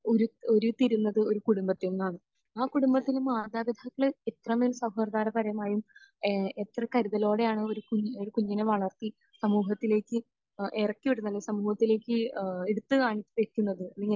ഉരുത്തിരിയുന്നത് ഒരു കുടുംബത്തിൽ നിന്നാണ്. ആ കുടുംബത്തിലെ മാതാപിതാക്കൾ എത്രമേൽ സൗഹാർദപരമായും ഏഹ് എത്ര കരുതലോടെയാണ് ഒരു കുഞ്...ഒരു കുഞ്ഞിനെ വളർത്തി സമൂഹത്തിലേക്ക് ഇറക്കിവിടുന്നത് അല്ലെങ്കിൽ സമൂഹത്തിലേക്ക് ഏഹ് എടുത്ത് കാ...വെക്കുന്നത്